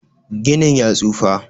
Ginin ya tsufa.